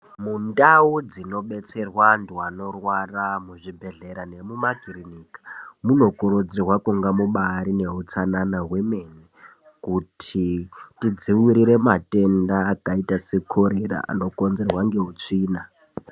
Mundau dzinobetserwa antu anorwara muzvibhedhlera nemumakirinika. Munokuridzirwa kunga mubarine utsanana hwemene. Kuti tidzivirire matenda akaita sekorera anokonzerwa ngeutsvina.